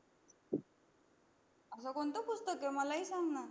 अस कोणत पुस्तक ग मलाही सांग ना